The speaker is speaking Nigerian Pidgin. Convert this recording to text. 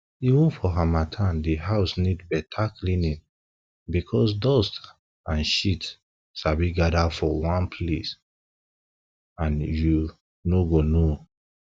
even for harmattan di house need better cleaning because dust and shit sabi gather for one place and you you no go know